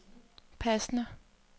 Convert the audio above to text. passende